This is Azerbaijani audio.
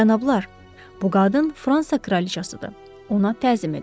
Cənablar, bu qadın Fransa kraliçasıdır, ona təzim edək.